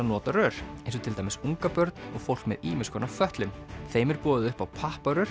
nota rör eins og til dæmis ungabörn og fólk með ýmiskonar fötlun þeim er boðið upp á